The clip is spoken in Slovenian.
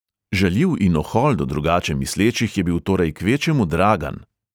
Žaljiv in ohol do drugače mislečih je bil torej kvečjemu dragan.